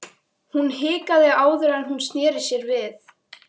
Hún hikaði áður en hún sneri sér við.